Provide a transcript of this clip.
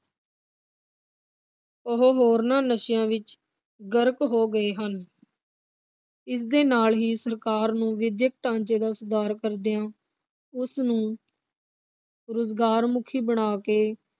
ਉਹ ਹੋਰਨਾਂ ਨਸ਼ਿਆਂ ਵਿਚ ਗਰਕ ਹੋ ਗਏ ਹਨ। ਇਸ ਨਾਲ ਹੀ ਸਰਕਾਰ ਨੂੰ ਵਿੱਦਿਅਕ ਢਾਂਚੇ ਦਾ ਸੁਧਾਰ ਕਰਦਿਆਂ ਉਸਨੂੰ ਰੁਜ਼ਗਾਰ ਮੁਖੀ ਬਣਾ ਕੇ